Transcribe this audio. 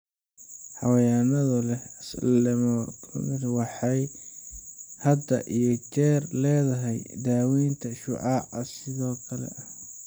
Haweeneyda leh lumpectomy waxay had iyo jeer leedahay daawaynta shucaaca sidoo kale.